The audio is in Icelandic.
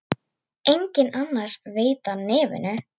Enginn annar veit af nefinu.